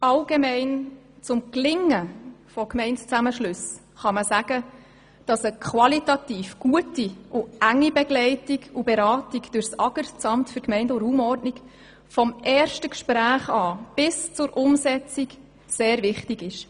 Für das Gelingen von Gemeindezusammenschlüssen ist grundsätzlich eine qualitativ gute und enge Begleitung durch das Amt für Gemeinden und Raumordnung (AGR) vom ersten Gespräch bis zur Umsetzung sehr wichtig.